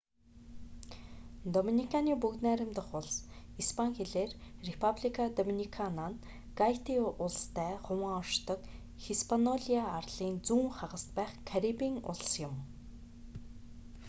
доминиканы бүгд найрамдах улс испани хэлээр: репаблика доминикана нь гайти улстай хуваан оршдог хиспаниола арлын зүүн хагаст байх карибын улс юм